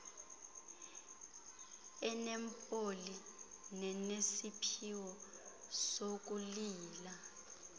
enempilo nenesiphiwo sokuyila